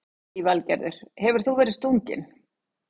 Lillý Valgerður: Hefur þú verið stunginn?